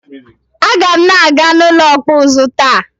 Aga m na-aga n'ụlọ ọkpụ ụzụ taa.